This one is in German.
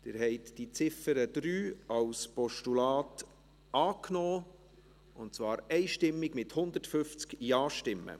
Sie haben die Ziffer 3 als Postulat einstimmig angenommen, mit 150 Ja- gegen 0 NeinStimmen bei 0 Enthaltungen.